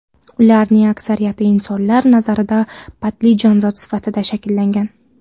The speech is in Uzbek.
Ularning aksariyati insonlar nazarida patli jonzot sifati shakllangan.